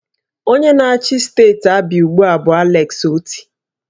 Onye na-achị steeti Abịa ugbu a bụ Alex Oti